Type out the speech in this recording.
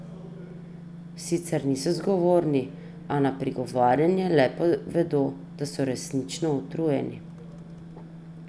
Sicer niso zgovorni, a na prigovarjanje le povedo, da so resnično utrujeni.